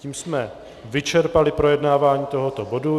Tím jsme vyčerpali projednávání tohoto bodu.